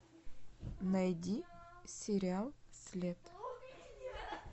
найди сериал след